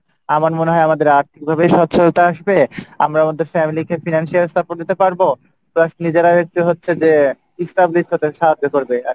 আমার মনে হয় আমাদের আর্থিকভাবে সচ্ছলতা আসবে আমরা আমাদের family কে financial support দিতে পারবো plus নিজেরা হচ্ছে যে একটু establish হতে সাহায্য করবে আরকি।